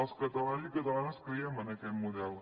els catalans i catalanes creiem en aquest model